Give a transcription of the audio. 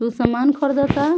उ सामान खरदअ ता।